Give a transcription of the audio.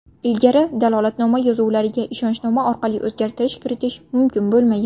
Ilgari dalolatnoma yozuvlariga ishonchnoma orqali o‘zgartirish kiritish mumkin bo‘lmagan.